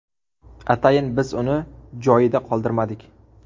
Atayin biz uni joyida qoldirmagandik.